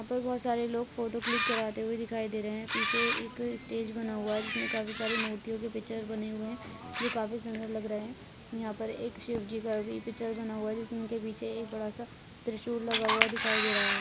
यहां पर बहुत सारे लोग फोटो क्लिक कराते हुए दिखाई दे रहे है पीछे एक स्टेज बना हुआ है जिसमे काफी सारे मूर्तियों के पिक्चर्स बने हुए है जो काफी सुंदर लग रहे है यहां पर एक शिवजी का भी पिच्चर बना हुआ है जिसमे उनके पीछे एक बड़ा सा त्रिशूल लगा हुआ दिखाई दे रहा है।